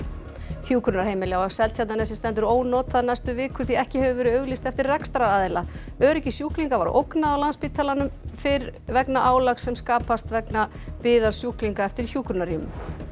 hjúkrunarheimili á Seltjarnarnesi stendur ónotað næstu vikur því ekki hefur verið auglýst eftir rekstraraðila öryggi sjúklinga var ógnað á Landspítalanum fyrir vegna álags sem skapast vegna biðar sjúklinga eftir hjúkrunarrýmum